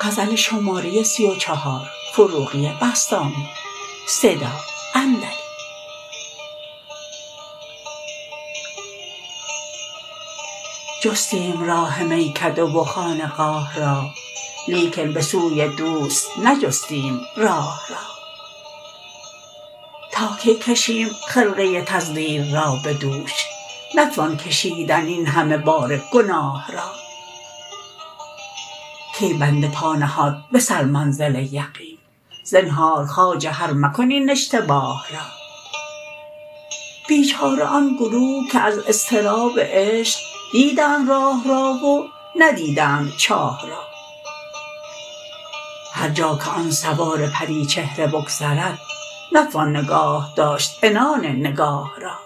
جستیم راه میکده و خانقاه را لیکن به سوی دوست نجستیم راه را تا کی کشیم خرقه تزویر را به دوش نتوان کشیدن این همه بار گناه را کی بنده پا نهاد به سر منزل یقین زنهار خواجه هر مکن این اشتباه را بیچاره آن گروه که از اضطراب عشق دیدند راه را و ندیدند چاه را هر جا که آن سوار پری چهره بگذرد نتوان نگاهداشت عنان نگاه را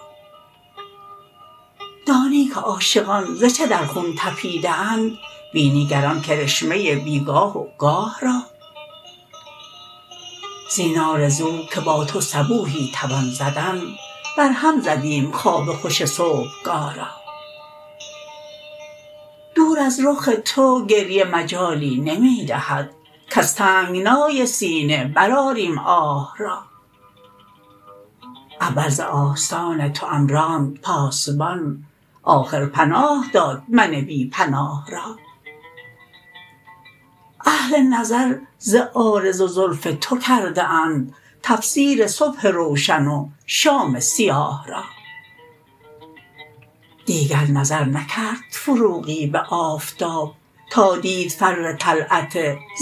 دانی که عاشقان ز چه در خون طپیده اند بینی گر آن کرشمه بیگاه وگاه را زین آرزو که با تو صبوحی توان زدن بر هم زدیم خواب خوش صبح گاه را دور از رخ تو گریه مجالی نمی دهد کز تنگنای سینه برآریم آه را اول ز آستان توام راند پاسبان آخر پناه داد من بی پناه را اهل نظر ز عارض و زلف تو کرده اند تفسیر صبح روشن و شام سیاه را دیگر نظر نکرد فروغی به آفتاب تادید فر طلعت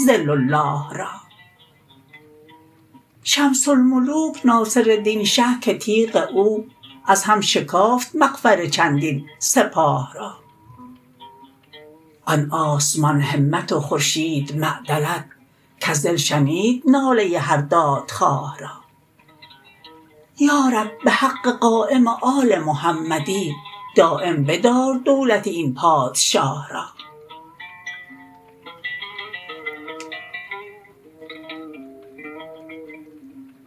ظل الله را شمس الملوک ناصر الدین شه که تیغ او از هم شکافت مغفر چندین سپاه را آن آسمان همت و خورشید معدلت کز دل شنید ناله هر دادخواه را یا رب به حق قایم آل محمدی دایم بدار دولت این پادشاه را